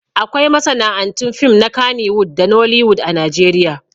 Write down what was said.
Akwai masana'antun fim na kannywood da nollywood a Najeriya